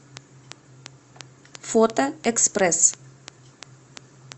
фото экспресс